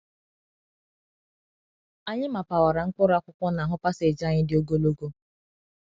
Anyị mapawara mkpụrụ akwụkwọ n’ahụ paseji anyị dị ogologo.